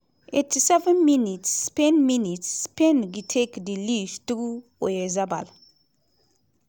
87 mins -spain mins -spain retake di lead through oyarzabal.